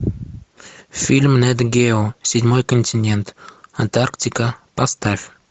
фильм нэт гео седьмой континент антарктика поставь